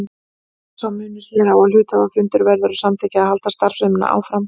Þó er sá munur hér á að hluthafafundur verður að samþykkja að halda starfseminni áfram.